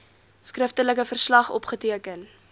skriftelike verslag opgeteken